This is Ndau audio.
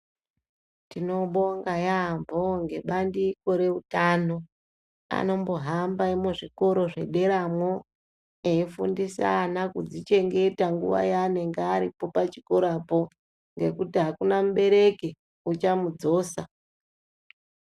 Tinobonga yaampho ngebandiko reutano. Anombohamba muzvikora zvederamo eifundisa ana kudzichengeta guwa yaanonga aripo pachikorapo ngekuti akuna mubereki uchamudzosa.